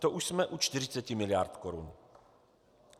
To už jsme u 40 miliard korun.